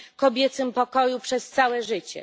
kobiecym pokoju przez całe życie.